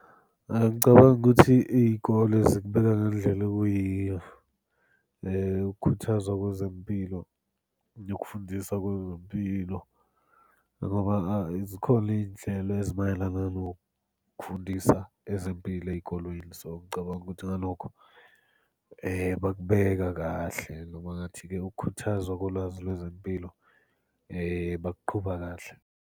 Ngicabanga ukuthi iy'kole zikubeka ngendlela okuyiyo ukukhuthazwa kwezempilo nokufundisa kwezempilo, ngoba zikhona iy'nhlelo ezimayelana nokufundisa ezempilo ey'kolweni. So, ngicabanga ukuthi ngalokho bakubeka kahle, ngingathi kuyakhuthaza kolwazi lwezempilo bakuqhuba kahle.